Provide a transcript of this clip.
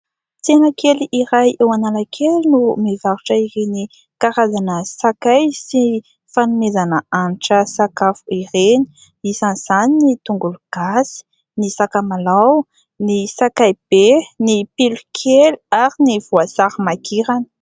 Tsena kely iray eo Analakely no mivarotra ireny karazana sakay sy ny fanomezana hanitra sakafo ireny, isan'izany ny tongolo gasy, ny sakamalao, ny sakay be, ny pilokely ary ny voasary makirana.